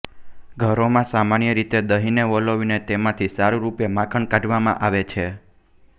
ઘરોમાં સામાન્ય રીતે દહીંને વલોવીને તેમાંથી સારરૂપે માખણ કાઢવામાં આવે છે